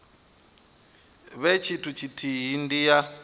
vhe tshithu tshithihi ndi ya